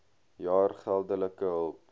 jaar geldelike hulp